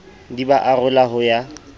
di ba arola ho ya